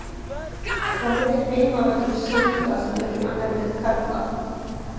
Hvað heitir heimavöllur Sindra sem leikur í annarri deild karla?